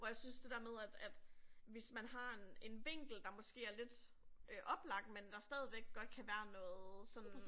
Hvor jeg synes det der med at at hvis man har en en vinkel der måske er lidt øh oplagt men der stadigvæk godt kan være noget sådan